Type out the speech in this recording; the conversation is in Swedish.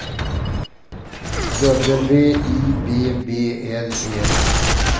W I B B L E